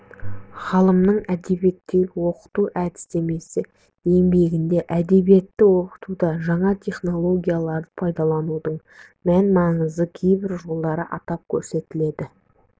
ғалымның әдебиетті оқыту әдістемесі еңбегінде әдебиетті оқытуда жаңа технологияларды пайдаланудың мән-маңызы кейбір жолдары атап көрсетіледі